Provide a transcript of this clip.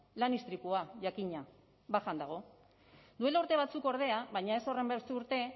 lan istripua jakina bajan dago duela urte batzuk ordea baina ez horrenbeste urte